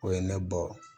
O ye ne bɔ